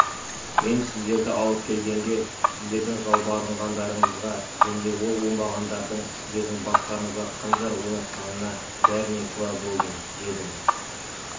мен сіздерді алып келгенге сіздердің жалбарынғандарыңызға және ол оңбағандардың сіздердің бастарыңызға қанжар ойнатқанына бәріне куә болдым дедім